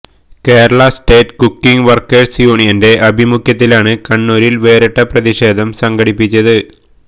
Kerala state cooking workers യൂണിയന്റെ ആഭിമുഖ്യത്തിലാണ് കണ്ണൂരില് വേറിട്ട പ്രതിഷേധം സംഘടിപ്പിച്ചത്